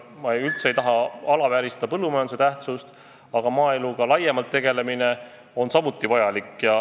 Ma üldse ei taha pisendada põllumajanduse tähtsust, aga maaeluga laiemalt tegelemine on väga vajalik.